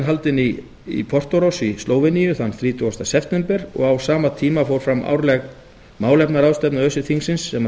haldinn í portoroz í slóveníu þann þrítugasta september og á sama tíma fór fram árleg málefnaráðstefna öse þingsins sem að